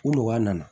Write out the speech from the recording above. U nɔgɔya nana